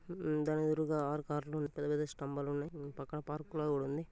దాని ఎదురుగా ఆరు కార్లు పెద్ద పెద్ద స్థంబాలు ఉన్నాయి పక్కన పార్కు కూడా ఉంది